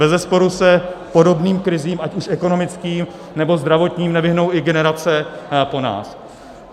Bezesporu se podobným krizím, ať už ekonomickým, nebo zdravotním, nevyhnou ani generace po nás.